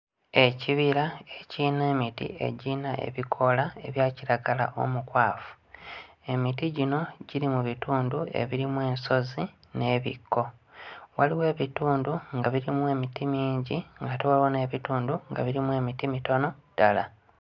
Ekibira ekirina emiti egirina ebikoola ebya kiragala omukwafu. Emiti gino giri mu bitundu ebirimu ensozi n'ebikko. Waliwo ebitundu nga birimu emiti mingi ng'ate waliwo n'ebitundu nga birimu emiti mitono ddala.